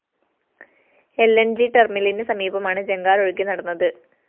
ൽ ന്‌ ജി ടെര്‍മിലിന് സമീപമാണ് ജങ്കാര്‍ ഒഴുകി നടന്നത്